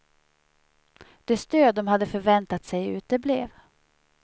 Det stöd de hade förväntat sig uteblev.